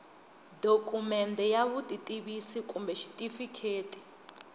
dokumende ya vutitivisi kumbe xitifiketi